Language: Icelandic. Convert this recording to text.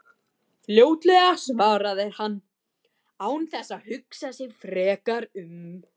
Fljótlega, svarar hann án þess að hugsa sig frekar um.